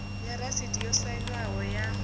ya rasiti yo sainwaho ya